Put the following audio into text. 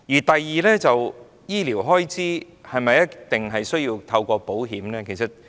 第二，醫療開支是否一定要透過保險來應付呢？